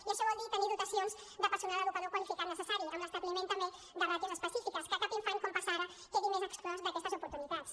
i això vol dir tenir dotacions de personal educador qualificat necessari amb l’establiment també de ràtios específiques que cap infant com passa ara quedi més exclòs d’aquestes oportunitats